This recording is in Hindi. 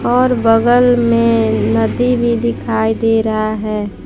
और बगल में नदी भी दिखाई दे रहा है।